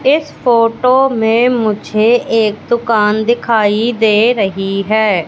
इस फोटो में मुझे एक दुकान दिखाई दे रही है।